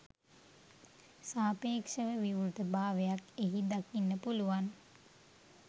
සාපේක්ෂව විවෘත භාවයක් එහි දකින්න පුළුවන්